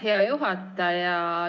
Aitäh, hea juhataja!